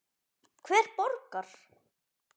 Hver borgar?